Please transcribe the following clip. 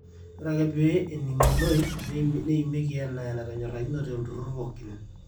ore ake pee ening'unoi neimieki enaa enatonyorakinote olturrur pooki